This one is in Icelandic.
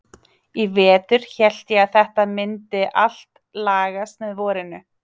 Í vetur hélt ég að þetta mundi allt lagast með vorinu.